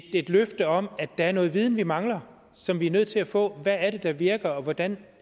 et løfte om at der er noget viden vi mangler og som vi er nødt til at få hvad er det der virker og hvordan